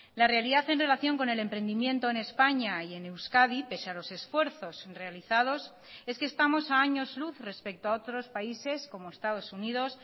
la realidad en relación con el emprendimiento en españa y en euskadi pese a los esfuerzos realizados es que estamos a años luz respecto a otros países como estados unidos